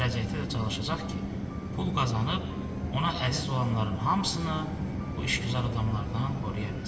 Gələcəkdə də çalışacaq ki, pul qazanıb, ona əziz olanların hamısını bu işgüzar adamlardan qoruya bilsin.